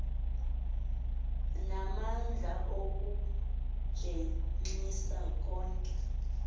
namandla okumjenxisa konke